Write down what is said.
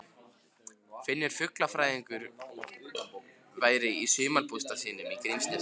Finnur fuglafræðingur væri í sumarbústað sínum í Grímsnesi.